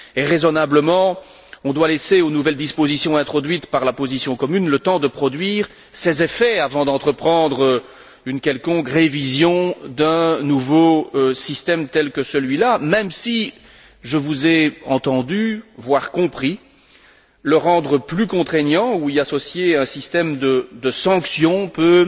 Raisonnablement, on doit laisser aux nouvelles dispositions introduites par la position commune le temps de produire leurs effets avant d'entreprendre une quelconque révision d'un nouveau système tel que celui là, même si je vous ai entendus, voire compris le rendre plus contraignant ou y associer un système de sanctions peut